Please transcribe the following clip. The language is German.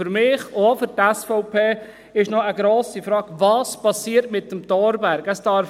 Für mich und auch für die SVP ist noch eine grosse Frage, was mit dem Thorberg geschieht.